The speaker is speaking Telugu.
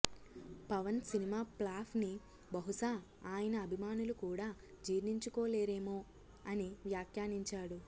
పవన్ సినిమా ఫ్లాప్ ని బహుశా ఆయన అభిమానులు కూడా జీర్ణించుకోలేరోమో అని వ్యాఖ్యానించాడు